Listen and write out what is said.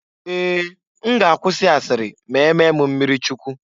Ee! M ga-akwụsi asịrị ma-emee m mmirichukwu.